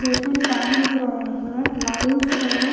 दो तीन फैन दिख रहे हैं लाइट्स हैं।